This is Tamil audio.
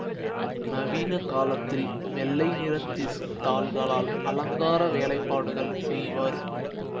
நவீன காலத்தில் வெள்ளைநிற திசுத் தாள்களால் அலங்கார வேலைப்பாடுகள் செய்வர்